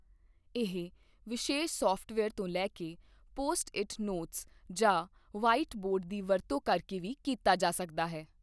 ਇਹ ਵਿਸ਼ੇਸ਼ ਸਾਫਟਵੇਅਰ ਤੋਂ ਲੈ ਕੇ ਪੋਸਟ ਇਟ ਨੋਟਸ ਜਾਂ ਵ੍ਹਾਈਟ ਬੋਰਡ ਦੀ ਵਰਤੋਂ ਕਰਕੇ ਵੀ ਕੀਤਾ ਜਾ ਸਕਦਾ ਹੈ।